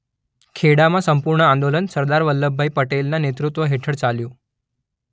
ખેડામાં સપૂર્ણ આંદોલન સરદાર વલ્લભભાઈ પટેલના નેતૃત્વ હેઠળ ચાલ્યું.